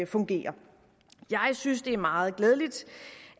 fungere jeg synes det er meget glædeligt